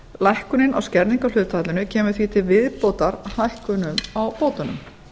lækkunin á skerðingarhlutfallinu kemur því til viðbótar hækkunum á bótunum